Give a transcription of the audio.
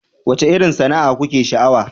Wacce irin sana'a kuke sha'awa?